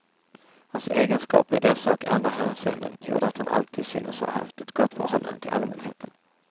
Hans egenskaper i dessa och andra hänseenden gjorde att han alltid synes ha haft ett gott förhållande till allmänheten.